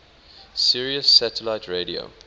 sirius satellite radio